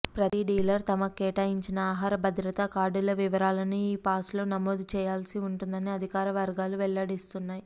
ప్రతి డీలర్ తమకు కేటాయించిన ఆహార భద్రతా కార్డుల వివరాలను ఈపాస్లో నమోదు చేయాల్సి ఉంటుందని అధికార వర్గాలు వెల్లడిస్తున్నాయి